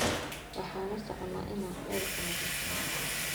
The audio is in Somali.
Waxan uusocona ina celka nadhifino.